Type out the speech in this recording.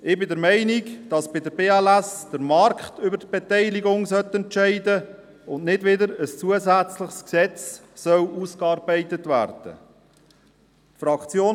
Ich bin der Meinung, dass bei der BLS AG der Markt über die Beteiligung entscheiden und nicht wieder ein zusätzliches Gesetz ausgearbeitet werden soll.